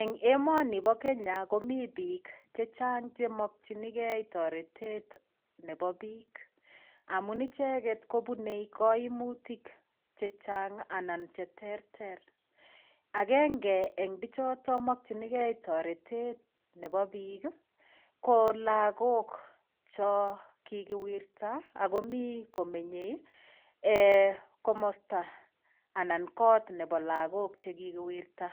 Eng' emoni bo Kenya komi biik chechang' chemokchinigei toretet nebo biik amun icheget kobunei kaimutik chechang' anan cheterter agenge eng' bichotok mokchenigei toretet nebo biik ko lakok cho kikiwirta akomi komenyei komosta anan kot nebo lakok chikikiwirta